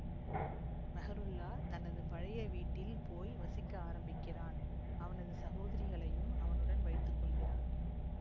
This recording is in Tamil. மெஹ்ருல்லா தனது பழைய வீட்டில் போய் வசிக்க ஆரம்பிக்கிறான் அவனது சகோதரிகளையும் அவனுடன் வைத்து கொள்கிறான்